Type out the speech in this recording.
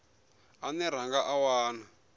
ane ra nga a wana